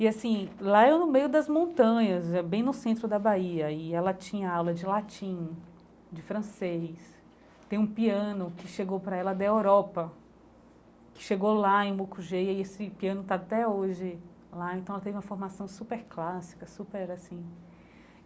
E assim, lá é no meio das montanhas, é bem no centro da Bahia, e ela tinha aula de latim, de francês, tem um piano que chegou para ela da Europa, que chegou lá em Mucugê, e esse piano está até hoje lá, então ela teve uma formação super clássica, super assim.